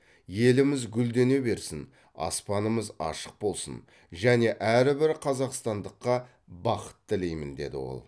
еліміз гүлдене берсін аспанымыз ашық болсын және әрбір қазақстандыққа бақыт тілеймін дейді ол